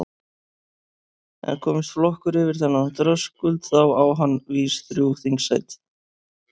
En komist flokkur yfir þennan þröskuld þá á hann vís þrjú þingsæti.